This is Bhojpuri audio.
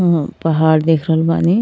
म् पहाड़ देख रहल बानी।